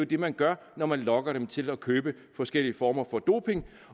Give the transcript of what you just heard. det man gør når man lokker dem til at købe forskellige former for doping